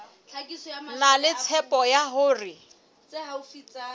na le tshepo ya hore